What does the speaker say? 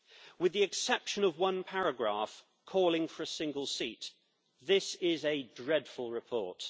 With the exception of one paragraph calling for a single seat, this is a dreadful report.